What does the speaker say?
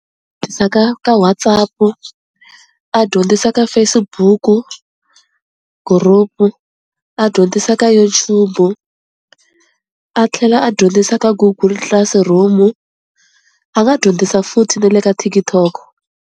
ka ka WhatsApp-u, a dyondzisa ka Facebook-u group-u, a dyondzisa ka YouTube-u, a tlhela a dyondzisa ka Google Classroom-u, a nga dyondzisa futhi na le ka TikTok.